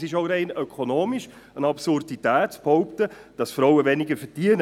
Es ist auch aus ökonomischer Sicht eine Absurdität zu behaupten, dass Frauen weniger verdienen.